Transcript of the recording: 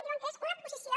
diuen que és una proposició